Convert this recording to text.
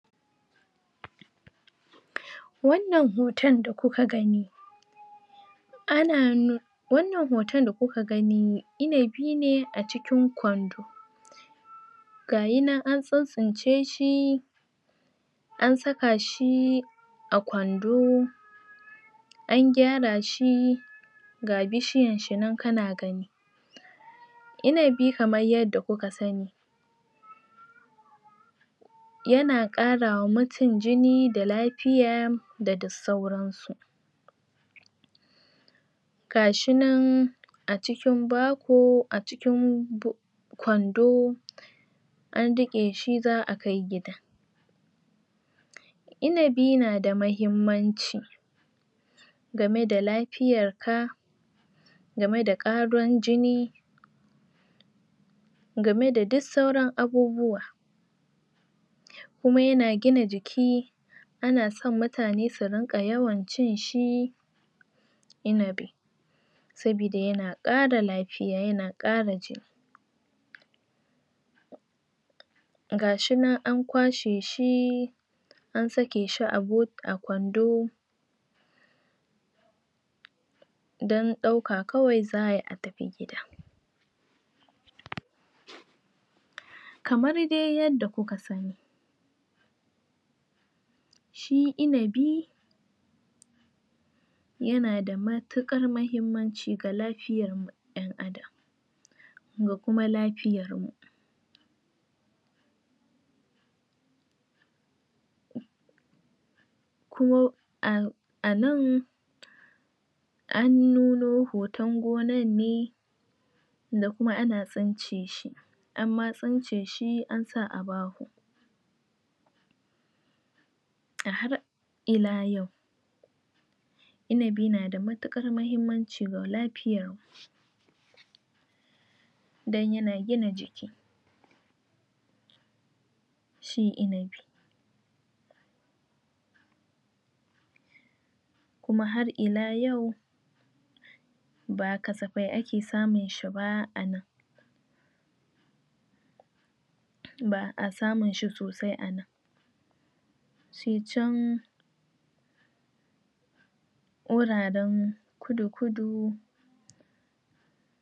wannan hoton da kuka gani ana wannan hoton da kuka gani inabi ne a cikin kwando gayi nan an tsintsince shi an saka shi a kwando an gyara shi ga bishiyan shi nan kana gani inabi kaman yanda kuka sani yana ƙarawa mu mutum jini da lafiya da duk sauran su gashi nan a cikin baho baho a cikin kwando an riƙe shi za'a kai gida inabi na da mahimmanci game da lafiyan ka game da ƙarin jini game da duk sauran abubuwa kuma yana gina jiki ana son mutane su rinƙa yawan cin shi inabi saboda yana ƙara lafiya yana ƙara gashinan an kwashe shi an sake shi a bo a kwando don ɗauka kawai za'ayi a tafi gida kamar dai yanda kuka sani shi inabi yana da matuƙar mahimmanci ga lafiyan da kuma lafiya kuma a a nan an nuno hoton gonan ne da kuma ana tsince shi anma tsince shi an sa a baho a har ila yau inabi nada matuƙar mahimmanci ga lafiya don yna gina kuma har ila yau ba kasafai ake samun shi ba anan ba'a samun shi sosai a nan sai can wuraren kudu kudu